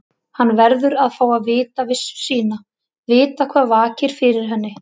Hann verður að fá að vita vissu sína, vita hvað vakir fyrir henni.